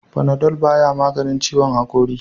Panadol ba ya maganin ciwon hakori.